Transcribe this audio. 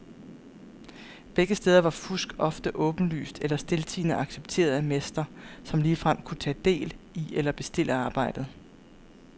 Begge steder var fusk ofte åbenlyst eller stiltiende accepteret af mester, som ligefrem kunne tage del i eller bestille arbejdet.